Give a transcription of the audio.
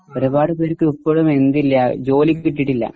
ഒരുപാട് പേർക്ക് ഇപ്പോഴും എന്തില്ല ജോലി കിട്ടിയിട്ടില്ല.